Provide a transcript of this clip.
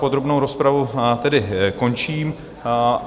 Podrobnou rozpravu tedy končím.